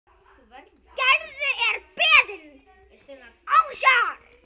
Gerður er beðin ásjár.